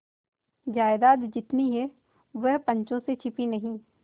जायदाद जितनी है वह पंचों से छिपी नहीं